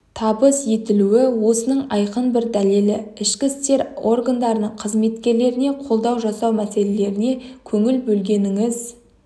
табыс етілуі осының айқын бір дәлелі ішкі істер органдарының қызметкерлеріне қолдау жасау мәселелеріне көңіл бөлгеніңіз